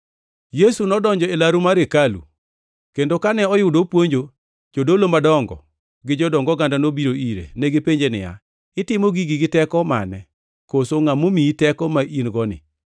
Yesu nodonjo e laru mar hekalu, kendo kane oyudo opuonjo, jodolo madongo gi jodong oganda nobiro ire. Negipenje niya, “Itimo gigi gi teko mane, koso ngʼa momiyi teko ma in-goni?”